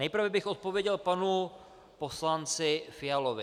Nejprve bych odpověděl panu poslanci Fialovi.